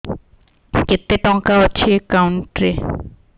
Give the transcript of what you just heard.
କେତେ ଟଙ୍କା ଅଛି ଏକାଉଣ୍ଟ୍ ରେ